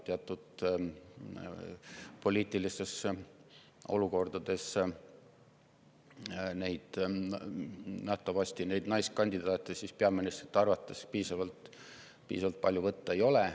Teatud poliitilistes olukordades pole nähtavasti peaministrite arvates naiskandidaate piisavalt palju võtta.